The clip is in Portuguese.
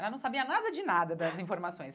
Ela não sabia nada de nada das informações.